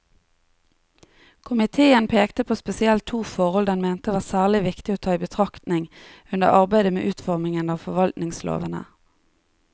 Komiteen pekte på spesielt to forhold den mente var særlig viktig å ta i betraktning under arbeidet med utformingen av forvaltningslovene.